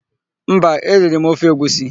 Mba, eriri m ofe egwusi.